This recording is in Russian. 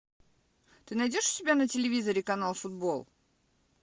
ты найдешь у себя на телевизоре канал футбол